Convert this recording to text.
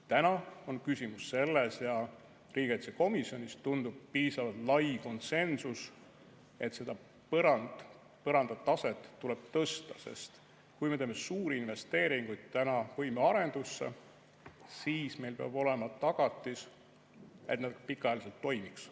Täna on küsimus selles ja riigikaitsekomisjonis tundub olevat piisavalt lai konsensus, et seda põranda taset tuleb tõsta, sest kui me teeme suuri investeeringuid võimearendusse, siis meil peab olema tagatis, et nad pikaajaliselt toimiks.